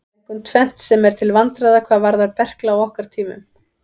Það er einkum tvennt sem er til vandræða hvað varðar berkla á okkar tímum.